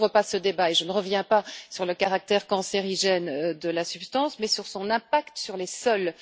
Je ne rouvre pas ce débat et je ne reviens pas sur le caractère cancérigène de la substance, mais sur son impact sur les sols.